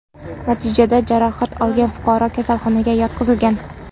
Natijada jarohat olgan fuqaro kasalxonaga yotqizilgan.